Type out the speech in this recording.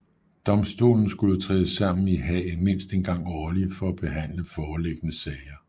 Domstolen skulle træde sammen i Haag mindst en gang årlig for at behandle foreliggende sager